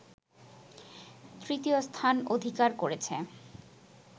তৃতীয় স্থান অধিকার করেছে